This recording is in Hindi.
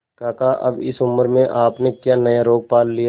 काका अब इस उम्र में आपने क्या नया रोग पाल लिया है